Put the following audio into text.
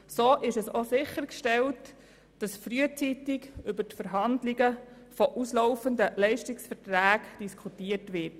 So ist auch sichergestellt, dass frühzeitig über Verhandlungen zu auslaufenden Leistungsverträgen diskutiert wird.